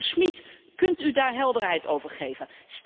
Minister Schmit, kunt u daar helderheid over geven?